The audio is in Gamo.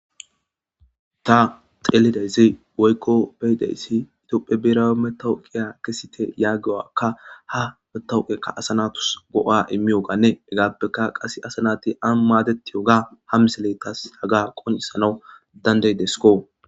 .ta xelida issi woykko be'ida issi tophe birawu matawukiya kesite yaguwaka ha asasi go'a immiyoganne hegappeka qassi ani maddetiyogaa misile tasi yotes.